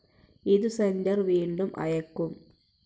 ഇതു സെന്റർ വീണ്ടും അയയ്ക്കും.